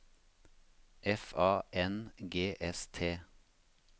F A N G S T